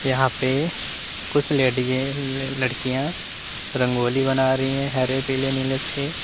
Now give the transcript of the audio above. यहां पे कुछ लेडीजे लड़कियां रंगोली बना रही है हरे पीले नीले से।